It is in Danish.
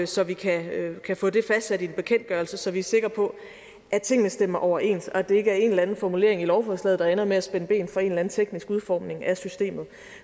så vi kan kan få det fastsat i en bekendtgørelse så vi er sikre på at tingene stemmer overens og at det ikke er en eller anden formulering i lovforslaget der ender med at spænde ben for en eller anden teknisk udformning af systemet